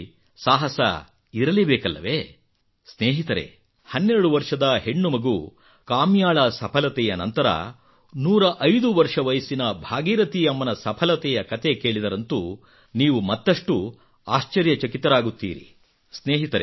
ಜೀವನದಲ್ಲಿ ಸಾಹಸ ಇರಲೇ ಬೇಕಲ್ಲವೇ ಸ್ನೇಹಿತರೇ ಹನ್ನೆರಡು ವರ್ಷದ ಹೆಣ್ಣುಮಗು ಕಾಮ್ಯಾಳ ಸಫಲತೆಯ ನಂತರ 105 ವರ್ಷ ವಯಸ್ಸಿನ ಭಾಗೀರಥಿ ಅಮ್ಮನ ಸಫಲತೆಯ ಕತೆ ಕೇಳಿದರಂತೂ ನೀವು ಮತ್ತಷ್ಟು ಆಶ್ಚರ್ಯಚಕಿತರಾಗುತ್ತೀರಿ